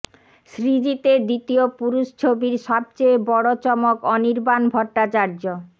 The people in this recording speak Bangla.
সৃজিতের দ্বিতীয় পুরুষ ছবির সবচেয়ে বড় চমক অনির্বাণ ভট্টাচার্য